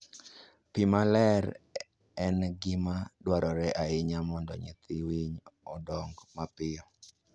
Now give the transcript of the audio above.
Pi maler en gima dwarore ahinya mondo nyithi winy odong mapiyo.